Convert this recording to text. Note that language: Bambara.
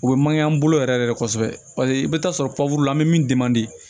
U bɛ mankan bolo yɛrɛ yɛrɛ de kosɛbɛ paseke i bɛ taa sɔrɔ la bɛ min